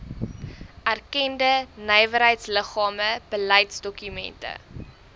erkende nywerheidsliggame beleidsdokumente